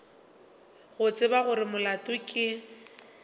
go tseba gore molato ke